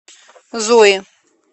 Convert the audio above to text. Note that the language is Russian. зои